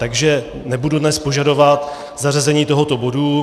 Takže nebudu dnes požadovat zařazení tohoto bodu.